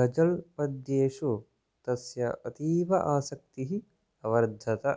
गज़ल् पद्येषु तस्य अतीव आसक्तिः अवर्धत